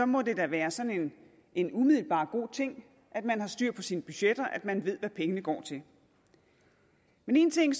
må det da være sådan en umiddelbart god ting at man har styr på sine budgetter at man ved hvad pengene går til men en ting